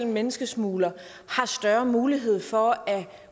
menneskesmuglere har større mulighed for at